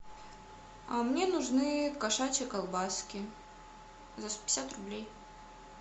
а мне нужны кошачьи колбаски за сто пятьдесят рублей